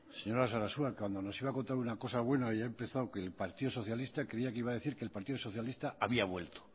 señora sarasua cuando nos iba a contar una cosa buena y ha empezado que el partido socialista creía que iba a decir que el partido socialista había vuelto